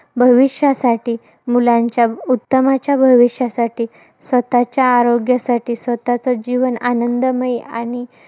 भविष्यासाठी, मुलांच्या उत्तमाचा भविष्यासाठी, स्वतःच्या आरोग्यासाठी, स्वतःचं जीवन आनंदमयी आणि